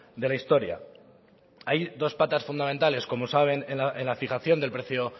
de la historia hay dos patas fundamentales como saben en la fijación del precio